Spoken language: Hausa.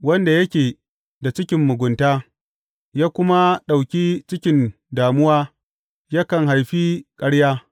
Wanda yake da cikin mugunta ya kuma ɗauki cikin damuwa yakan haifi ƙarya.